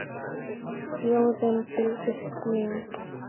Þjóðin fylgist með.